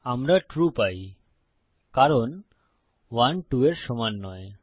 আমরা ট্রু পাই কারণ 1 2 এর সমান নয়